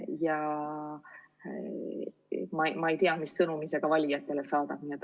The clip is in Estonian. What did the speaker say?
Ja ma ei tea, mis sõnumi see valijatele saadab.